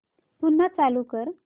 पुन्हा चालू कर